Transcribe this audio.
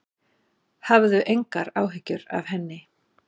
Hafðu engar áhyggjur af henni.